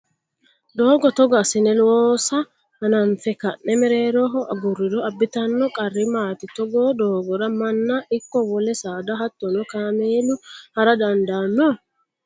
Doogo togo assine loosa hananfe ka'ne mereeroho agurriro abbitanno qarri maati? Togoo doogora manna ikko wole saada hattono kaamelu hara dandaanno?